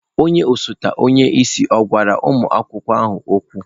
Onye osote onye isi ọ̀ gwara ụmụ akwụkwọ ahụ okwu?